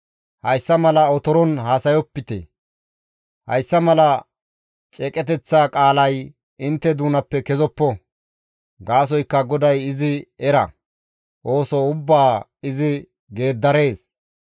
«Hayssa mala otoron haasayopite; hayssa mala ceeqeteththa qaalay intte doonappe kezoppo; gaasoykka GODAY izi era; ooso ubbaa izi geeddarees.